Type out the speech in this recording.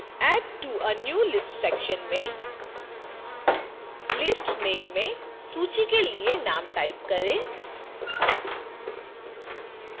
add to a new list section में list name में सूची के लिए name type करें